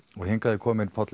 hingað er kominn Páll